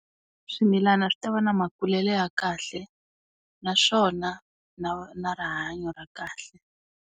Swimilana swi ta va na makulelo ya kahle naswona na na rihanyo ra kahle.